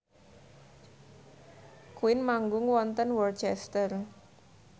Queen manggung wonten Worcester